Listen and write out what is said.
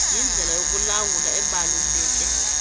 yindlela yokulawula ebaluleke